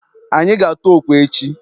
Anyị ga-atụ okwe echi.